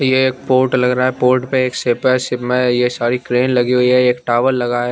ये एक पोर्ट लग रहा है पोर्ट में शिप है शिप में ये सारी क्रेन लगी हुई है एक टावर लगा है।